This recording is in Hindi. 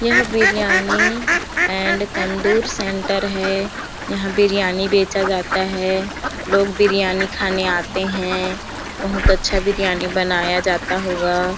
यह बिरयानी एंड तन्दूर सेन्टर है यहाँ बिरयानी बेचा जाता है लोग बिरयानी खाने आते है बहुत अच्छा बिरयानी बनाया जाता होगा--